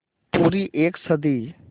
पूरी एक सदी